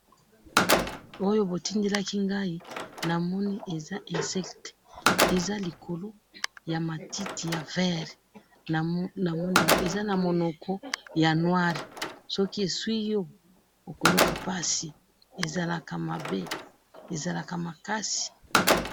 Awa eza ba insectes likolo ya matiti, eza na minoko ya moindo, soki esui yo okoyoka pasi.